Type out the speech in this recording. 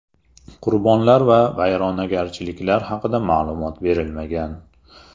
Qurbonlar va vayronagarchiliklar haqida ma’lumot berilmagan.